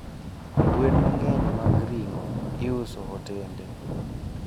Gwen mangeny mag ringo iuse hotende